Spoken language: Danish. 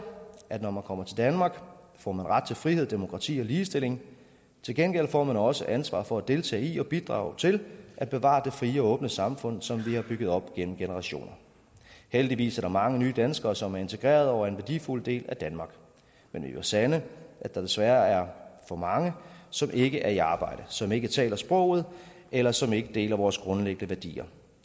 at når man kommer til danmark får man ret til frihed demokrati og ligestilling til gengæld får man også et ansvar for at deltage i og bidrage til at bevare det frie og åbne samfund som vi har bygget op gennem generationer heldigvis er der mange nye danskere som er integrerede og en værdifuld del af danmark men vi må sande at der desværre stadig for mange som ikke er i arbejde som ikke taler sproget eller som ikke deler vores grundlæggende værdier